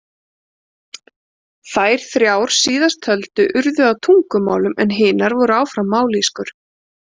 Þær þrjár síðasttöldu urðu að tungumálum en hinar voru áfram mállýskur.